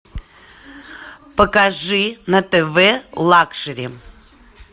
покажи на тв лакшери